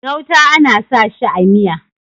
gauta ana sa shi a Miya